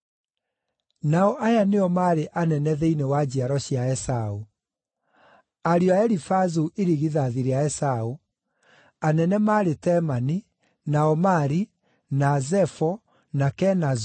Nao aya nĩo maarĩ anene thĩinĩ wa njiaro cia Esaũ: Ariũ a Elifazu irigithathi rĩa Esaũ: Anene maarĩ Temani, na Omari, na Zefo, na Kenazu,